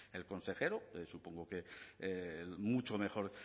el consejero supongo que mucho mejor